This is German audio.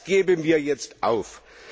Das geben wir jetzt auf.